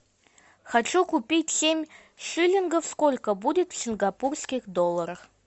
хочу купить семь шиллингов сколько будет в сингапурских долларах